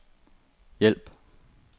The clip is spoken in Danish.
hjælp